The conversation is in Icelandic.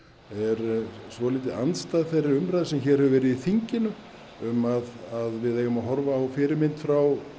er svolítið andstæð þeirri umræðu sem hér hefur verið í þinginu um að við eigum að horfa á fyrirmynd frá